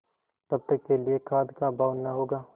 तब तक के लिए खाद्य का अभाव न होगा